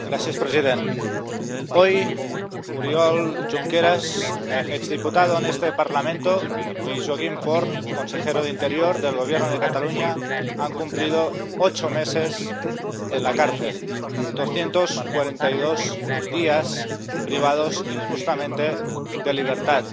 Señor presidente, hoy Oriol Junqueras, exdiputado en este Parlamento, y Joaquim Forn, consejero de Interior del Gobierno de Cataluña, han cumplido ocho meses en la cárcel, doscientos cuarenta y dos días privados injustamente de libertad.